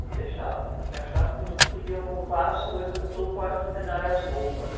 Não deixavam, porque achavam que a gente podia roubar as coisas do quarto centenário, as roupas.